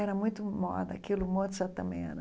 Era muito moda, aquilo, o Mozart também era.